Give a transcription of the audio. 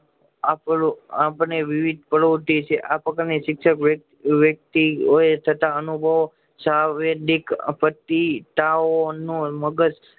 આપણું અપડે વિવિધ પનોતી છે આ પ્રકારની શિક્ષક વૅતિત હોય છતાં અનુભવ શારીરરક આપતી તાવ નો મગજ